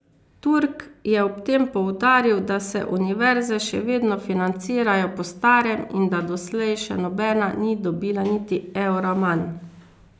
Turk je ob tem poudaril, da se univerze še vedno financirajo po starem in da doslej še nobena ni dobila niti evra manj.